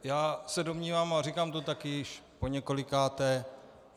Já se domnívám a říkám to taky již poněkolikáté.